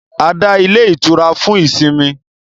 A dá ilé itura fún ìsinmi